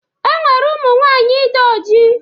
E nwere ụmụnwaanyị dị oji